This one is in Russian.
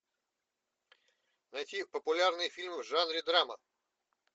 найти популярные фильмы в жанре драма